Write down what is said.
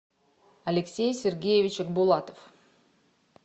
алексей сергеевич булатов